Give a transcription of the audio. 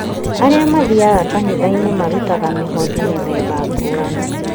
Arĩa mathiaga kanitha-inĩ marutaga mĩhothi mĩthemba ngũrani